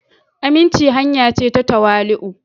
aminci hanya ce ta tawali'u.